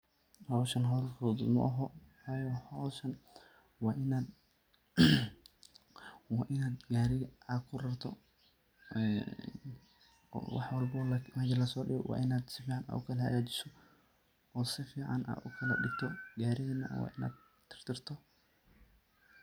Hooshan hool futhut maahn, hooshan Ina Gaarika caga kurartoh, ee wax walbo mesha la so deegoh wa Ina kala hagajeeoh oo sufacan u kalaga degtoh si tartiib.